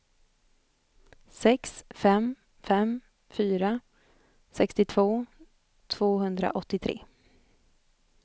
sex fem fem fyra sextiotvå tvåhundraåttiotre